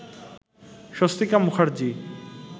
Swastika Mukherjee